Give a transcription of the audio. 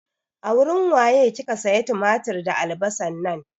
A wurin waye kika siya tumatir da albasan nan?